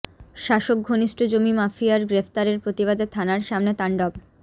শাসক ঘনিষ্ঠ জমি মাফিয়ার গ্রেফতারের প্রতিবাদে থানার সামনে তাণ্ডব